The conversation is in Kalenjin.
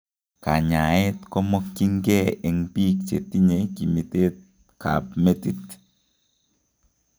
Kanyaeet kemokyin kee eng biik chetinye kimiteek ab metit